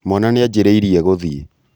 mwana nĩajĩrĩĩrĩe gũthiĩ